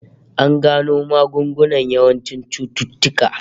An gano magungunan yawancin cututtuka